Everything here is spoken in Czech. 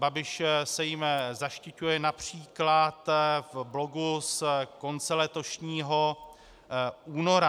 Babiš se jím zaštiťuje například v blogu z konce letošního února.